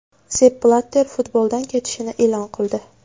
Zepp Blatter futboldan ketishini e’lon qildi .